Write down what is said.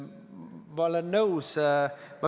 Olen nõus.